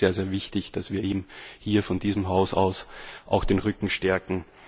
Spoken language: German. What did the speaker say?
Ich denke, es ist sehr, sehr wichtig, dass wir ihm hier von diesem Haus aus den Rücken stärken.